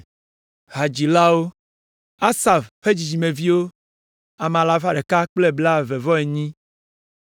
Hadzilawo: Asaf ƒe dzidzimeviwo, ame alafa ɖeka kple blaeve-vɔ-enyi (128).